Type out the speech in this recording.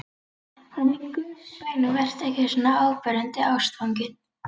En í Guðs bænum vertu ekki svona áberandi ástfanginn.